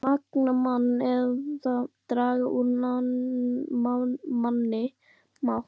Mundi það magna mann eða draga úr manni mátt?